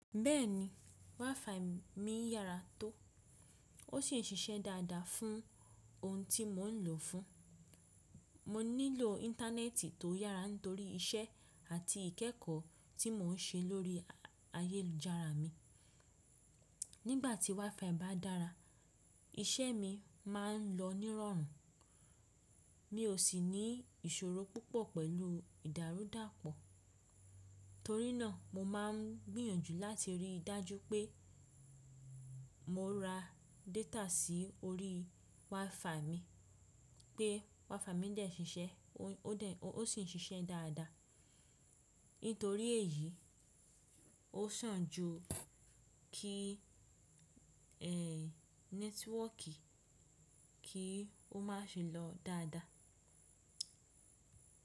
Bẹ́ẹ̀ni, WiFi mi yára tó, ó sì ń ṣiṣẹ́ dáadáa fún ohun tí mò ń lò fún. Mo nílò Íńtánẹ́ẹ̀tì tó yára nítorí iṣẹ́ àti ìkẹ́ẹ̀kọ́ tí mò ń ṣe lórí ayélujára mi. Nígbà tí WiFi bá dára, iṣẹ́ mi máa ń lọ nírọ̀rùn, mi ò sì ní ìṣòro púpọ̀ pẹ̀lú ìdárúdàpọ̀. Torí náà, mo máa ń gbìyànjú láti rí i dájú pé mò ra data sí orí WiFi mi pé WiFi mi dẹ̀ ṣiṣẹ́, ó sì ń ṣiṣẹ́ dáadáa. Nítorí èyí, ó sàn ju kí ẹ̀ nẹ́tíwọọ̀kì kì í má ṣe lọ dáadáa.